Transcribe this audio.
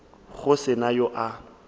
go se na yo a